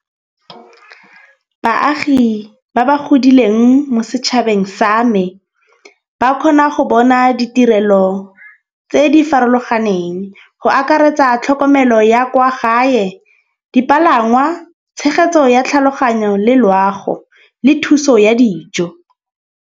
Baagi ba ba godileng mo setšhabeng sa me ba kgona go bona ditirelo tse di farologaneng. Go akaretsa tlhokomelo ya kwa gae dipalangwa, tshegetso ya tlhaloganyo le loago le thuso ya dijo.